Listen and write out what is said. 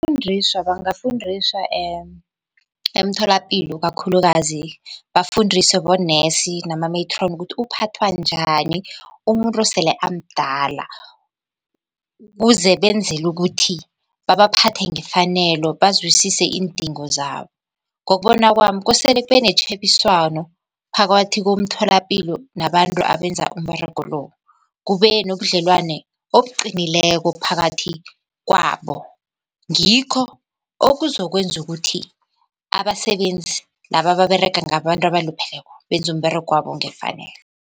bangafundiswa emtholapilo kakhulukazi bafundiswe bonesi nama-matron ukuthi uphathwa njani umuntu osele amdala, kuze benzele ukuthi babaphathe ngefanelo bazwisise iindingo zabo. Ngokubona kwami kosele kube netjhebiswano phakathi komtholapilo nabantu abenza umberego lo, kube nobudlelwane obuqinileko phakathi kwabo. Ngikho okuzokwenza ukuthi abasebenzi laba ababerega ngabantu abalupheleko benze umberegwabo ngefanelo.